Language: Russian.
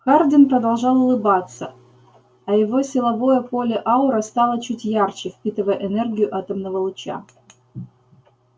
хардин продолжал улыбаться а его силовое поле-аура стало чуть ярче впитывая энергию атомного луча